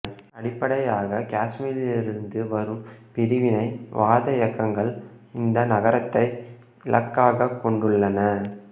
அடிப்படையாக காசுமீரிலிருந்து வரும் பிரிவினை வாத இயக்கங்கள் இந்த நகரத்தை இலக்காக கொண்டுள்ளன